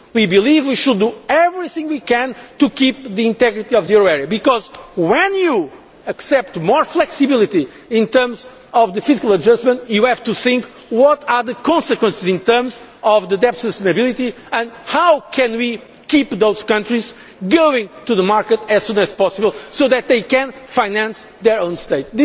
We believe we should do everything we can to keep the integrity of the euro area because when you accept more flexibility in terms of fiscal adjustment you have to think what the consequences in terms of deficit stability will be and how we can keep those countries going to the market as soon as possible so that they can finance their own state.